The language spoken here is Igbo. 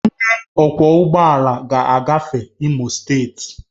Onye ọkwọ ụgbọ ala ga-agafe Imo steeti